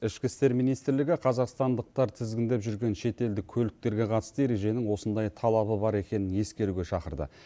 ішкі істер министрлігі қазақстандықтар тізгіндеп жүрген шетелдік көліктерге қатысты ереженің осындай талабы бар екенін ескеруге шақырды